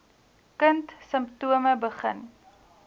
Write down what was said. kind simptome begin